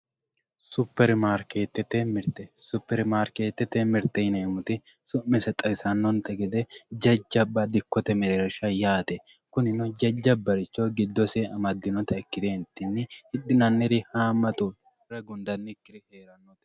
Super maariketete mirite, super maariketete mirite yineemotti sumise xawisanonte gede jajaba dikkotte mereerrisha yaate kunino jajabaricho gidose amadinotta ikkite hidhinaniri haamatu hire gudanikiri heerawo